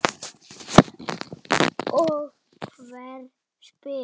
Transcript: Og hver spyr?